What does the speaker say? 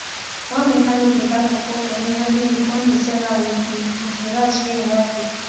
one mechanic dey buy pawpaw from me everi week kon dey sell am with d with d rice wey e wife dey cook